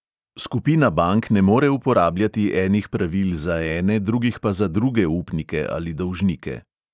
Skupina bank ne more uporabljati enih pravil za ene, drugih pa za druge upnike ali dolžnike.